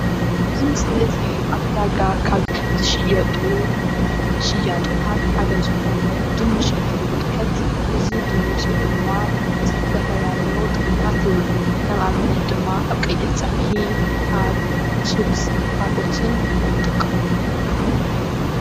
ኣብዚ ምስሊ እዙይ ኣብ ዕዳጋ ካብ ዝሽየጡ ሽያጦታት ሓደ ዝኮነ ድንሽ ንትንምልከት እዚ ድንሽ ድማ ንዝተፈላለዩ ጥቅምታት ይውዕል። ከም ኣብነት ድማ ከም ቀይሕ ፀብሒ ኣብ ችብስ ካልኦትን ንጥቀመሉ፡፡